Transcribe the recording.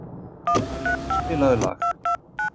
Harri, spilaðu lag.